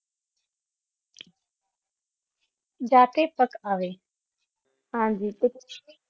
ਜਾ ਤੇ ਪਾਕ ਅਵੇ ਹਾਂਜੀ